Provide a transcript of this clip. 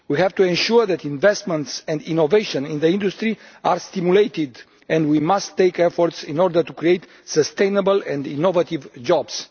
We have to ensure that investments and innovation in the industry are stimulated, and we must make efforts to create sustainable and innovative jobs.